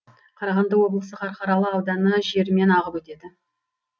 қарағанды облысы қарқаралы ауданы жерімен ағып өтеді